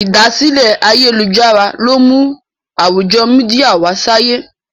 ìdásílẹ̀ Ayélujára lọ mú àwùjọ media wá sáyé.